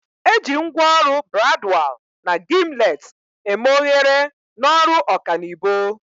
Eji ngwaọrụ bradwal na gimlet eme oghere n'ọrụ ọkanibo.